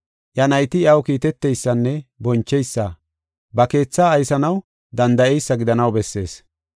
iya nayti iyaw kiiteteysanne boncheysa, ba keethaa aysanaw danda7eysa gidanaw bessees.